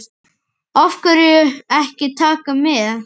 Af hverju ekki Taka með?